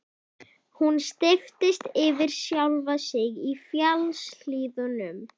Hún steyptist yfir sjálfa sig í fjallshlíðunum.